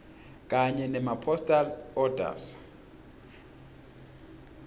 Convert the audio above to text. kanye nemapostal orders